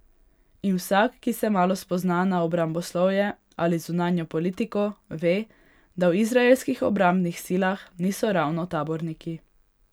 In vsak, ki se malo spozna na obramboslovje ali zunanjo politiko, ve, da v izraelskih obrambnih silah niso ravno taborniki.